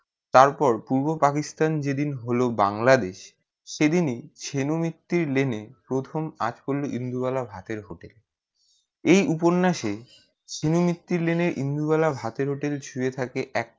তার পর পূর্ব পাকিস্তান যে দিন হলো বাংলাদেশ সে দিন ই ছেনো মিত্রি লেনে প্রথম আজ করলো ইন্দুবালা ভাতের hotel এই উপন্যাসে তিনি মিত্রি লেনে ইন্দুবালা ভাতের hotel ছুঁয়ে থাকে এক